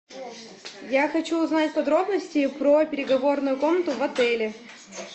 я хочу узнать подробности про переговорную комнату в отеле